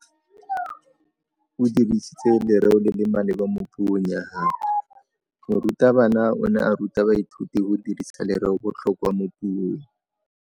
O dirisitse lerêo le le maleba mo puông ya gagwe. Morutabana o ne a ruta baithuti go dirisa lêrêôbotlhôkwa mo puong.